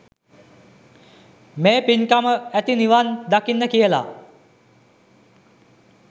මේ පින්කම ඇති නිවන් දකින්න කියලා.